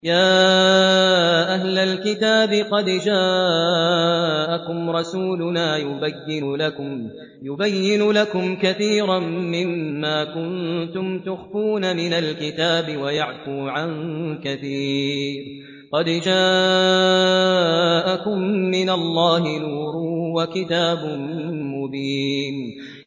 يَا أَهْلَ الْكِتَابِ قَدْ جَاءَكُمْ رَسُولُنَا يُبَيِّنُ لَكُمْ كَثِيرًا مِّمَّا كُنتُمْ تُخْفُونَ مِنَ الْكِتَابِ وَيَعْفُو عَن كَثِيرٍ ۚ قَدْ جَاءَكُم مِّنَ اللَّهِ نُورٌ وَكِتَابٌ مُّبِينٌ